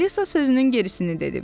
Alisa sözünün gerisini dedim.